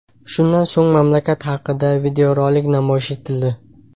Shundan so‘ng mamlakat haqida videorolik namoyish etildi.